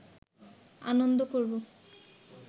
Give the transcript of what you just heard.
আনন্দ করব